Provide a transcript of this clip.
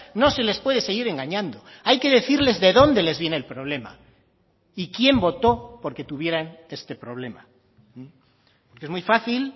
no se les puede seguir engañando hay que decirles de dónde les viene el problema y quién voto por que tuvieran este problema es muy fácil